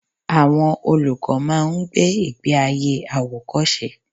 Àwọn olùkọ́ máa ń gbé ìgbé ayé àwòkọ́ṣe.